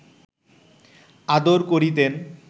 আদর করিতেন